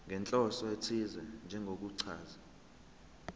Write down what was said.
nenhloso ethize njengokuchaza